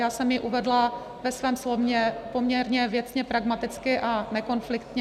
Já jsem ji uvedla ve svém slově poměrně věcně pragmaticky a nekonfliktně.